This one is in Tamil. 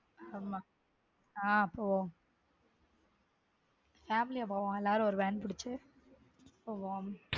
ஆமா ஹம் போவோம family ஆ போவோம் எல்லாரும் ஒரு van புடிச்சு போவோம்.